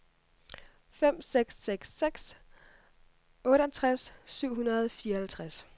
fem seks seks seks otteogtres syv hundrede og fireoghalvtreds